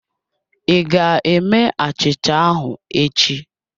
Ị ga-eme achicha ahụ echi